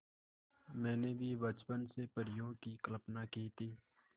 मैंने भी बचपन से परियों की कल्पना की थी